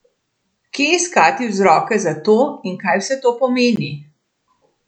Kje iskati vzroke za to in kaj vse to pomeni?